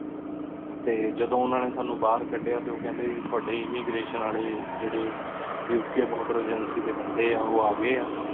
T ਜਦੋਂ ਓਹਨਾ ਨੀ ਸਨੀ ਬਾਹਰ ਕਦ੍ਯਾ ਟੀ ਓਹ ਕੇਹੰਡੀ ਗੀ ਤੁਹਾਡੀ ਇਮ੍ਮਿਗ੍ਰਾਤਿਓਂ ਵਾਲੀ ਜੇਰੀ ਉਕ ਬੋਆਰ੍ਦਰ ਅਗੇੰਕ੍ਯ ਡੀ ਬੰਦੀ ਆ ਓਹ ਆ ਗਏ ਆ